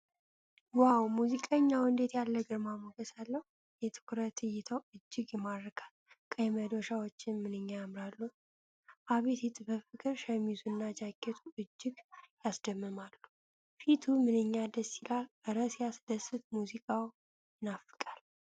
ው! ሙዚቀኛው እንዴት ያለ ግርማ ሞገስ አለው! የትኩረት እይታው እጅግ ይማርካል። ቀይ መዶሻዎች ምንኛ ያምራሉ! አቤት የጥበብ ፍቅር! ሸሚዙና ጃኬቱ እጅግ ያስደምማሉ። ፊቱ ምንኛ ደስ ይላል! እረ ሲያስደስት! ሙዚቃው ይናፍቃል!